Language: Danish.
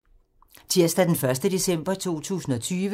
Tirsdag d. 1. december 2020